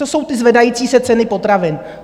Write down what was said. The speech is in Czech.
To jsou ty zvedající se ceny potravin.